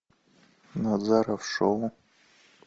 назаров шоу